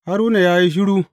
Haruna ya yi shiru.